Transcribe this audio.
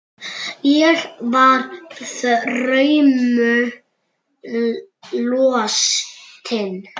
Ég var þrumu lostin.